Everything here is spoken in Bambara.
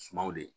Sumaworo ye